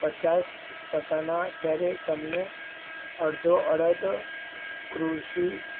પચાસ ટકાના દરે તમને અડધો અડધી કૃષિ